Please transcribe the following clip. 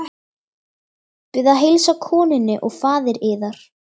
Bið að heilsa konunni og faðir yðar.